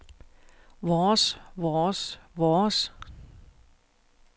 vores vores vores